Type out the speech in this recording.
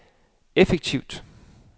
effektivt